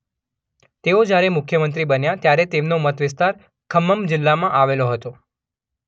તેઓ જ્યારે મુખ્યમંત્રી બન્યા ત્યારે તેમનો મત વિસ્તાર ખમ્મમ જિલ્લામાં આવેલો હતો.